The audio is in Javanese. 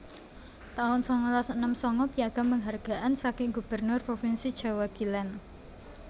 taun sangalas enem sanga Piagam Penghargaan saking Gubernur Provinsi Jawa Kilen